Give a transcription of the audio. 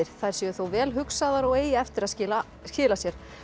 þær séu þó vel hugsaðar og eigi eftir að skila skila sér